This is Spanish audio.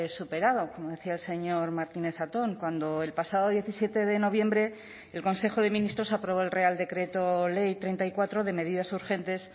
superado como decía el señor martínez zatón cuando el pasado diecisiete de noviembre el consejo de ministros aprobó el real decreto ley treinta y cuatro de medidas urgentes